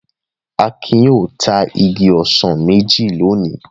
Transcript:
Akin yóò ta igi ọsàn méjì lónìí.